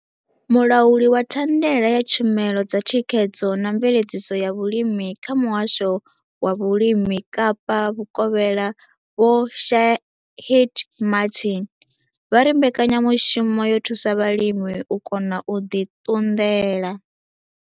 Mulauli wa thandela ya tshumelo dza thikhedzo na mveledziso ya vhulimi kha Muhasho wa Vhulimi Kapa Vhukovhela Vho Shaheed Martin vha ri mbekanyamushumo yo thusa vhalimi u kona u ḓi ṱunḓela.